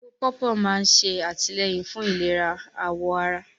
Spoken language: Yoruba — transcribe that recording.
Ewé pọ̀pọ́ máa ń ṣe àtìlẹ́yìn fún ìlera àwọ̀ ará